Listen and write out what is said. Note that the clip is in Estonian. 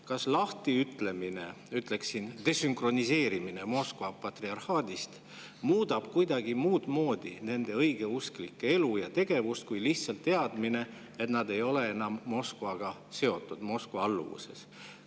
Kas lahtiütlemine, ütleksin, desünkroniseerimine Moskva patriarhaadist muudab kuidagi muud moodi nende õigeusklike elu ja tegevust kui nad lihtsalt teavad, et nad ei ole enam Moskvaga seotud, Moskva alluvuses?